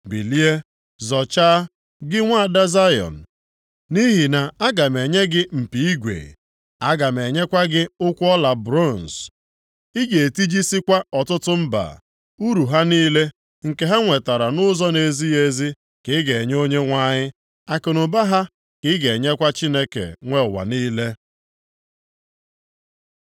“Bilie, zọchaa, gị nwaada Zayọn, nʼihi na aga m enye gị mpi igwe. Aga m enyekwa gị ụkwụ ọla bronz, ị ga-etijisikwa ọtụtụ mba. Uru ha niile, nke ha nwetara nʼụzọ na-ezighị ezi, ka ị ga-enye Onyenwe anyị. Akụnụba ha ka ị ga-enyekwa Chineke nwe ụwa niile.”